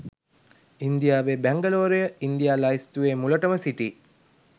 ඉන්දියාවේ බැංගලෝරය ඉන්දියා ලැයිස්තුවේ මුලටම සිටී